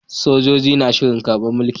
Sojoji na shirin karbar mulki